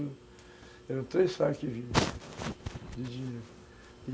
Eram três sacas de dinheiro.